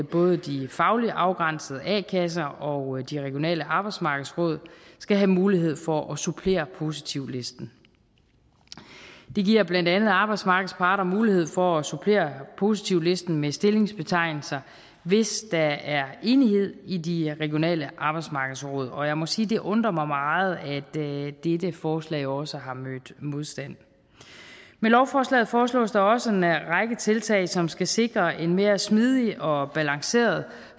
både de fagligt afgrænsede a kasser og de regionale arbejdsmarkedsråd skal have mulighed for at supplere positivlisten det giver blandt andet arbejdsmarkedets parter mulighed for at supplere positivlisten med stillingsbetegnelser hvis der er enighed i de regionale arbejdsmarkedsråd og jeg må sige at det undrer mig meget at dette dette forslag også har mødt modstand med lovforslaget foreslås der også en række tiltag som skal sikre en mere smidig og balanceret